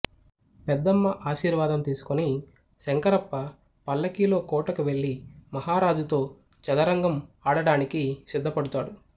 పెద్దమ్మ ఆశీర్వాదం తీసుకుని శంకరప్ప పల్లకీలో కోటకు వెళ్ళి మహారాజుతో చదరంగం ఆడడానికి సిద్ధపడుతాడు